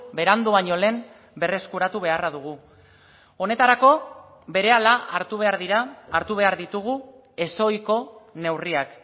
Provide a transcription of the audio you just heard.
berandu baino lehen berreskuratu beharra dugu honetarako berehala hartu behar dira hartu behar ditugu ezohiko neurriak